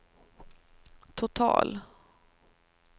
total